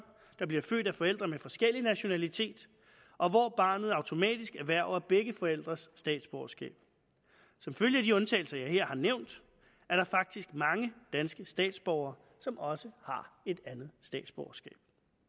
der bliver født af forældre med forskellig nationalitet og hvor barnet automatisk erhverver begge forældres statsborgerskab som følge af de undtagelser jeg her har nævnt er der faktisk mange danske statsborgere som også har et andet statsborgerskab